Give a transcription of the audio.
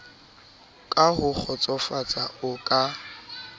ka ho kgotsofatsa o ka